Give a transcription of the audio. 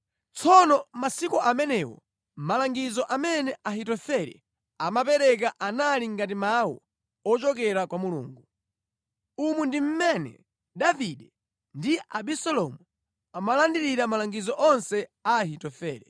Tsono masiku amenewo malangizo amene Ahitofele amapereka anali ngati mawu ochokera kwa Mulungu. Umu ndi mmene Davide ndi Abisalomu amalandirira malangizo onse a Ahitofele.